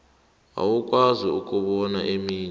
awukwazi ukubona eminye